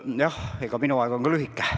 Jah, minu aeg on ka lühike.